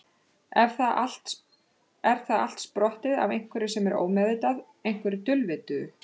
Er það allt sprottið af einhverju sem er ómeðvitað, einhverju dulvituðu?